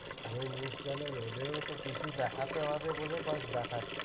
আর ওই news channel ওদেরও তো কিছু দেখাতে হবে বলে ব্যাস দেখাচ্ছে।